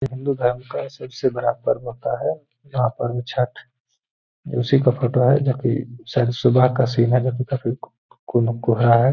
हिन्दू धर्म का सबसे बड़ा पर्व होता है यहां पर छठ ये उसी का फोटो है जो कि शायद सुबह का सीन है जो कि काफी को कोहरा है।